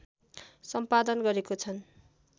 सम्पादन गरेका छन्